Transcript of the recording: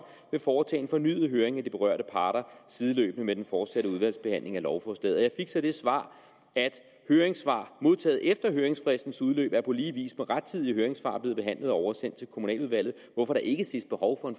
vil foretage en fornyet høring af de berørte parter sideløbende med den fortsatte udvalgsbehandling af lovforslaget jeg fik så det svar at høringssvar modtaget efter høringsfristens udløb på lige vis med rettidige høringssvar er blevet behandlet og oversendt til kommunaludvalget hvorfor der ikke ses behov for